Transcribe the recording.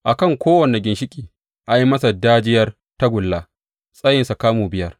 A kan kowane ginshiƙi, an yi masa dajiyar tagulla, tsayinta kamu biyar.